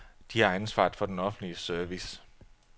De har ansvaret for den offentlige service.